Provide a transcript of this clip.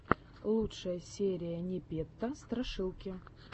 лучшая серия непета страшилки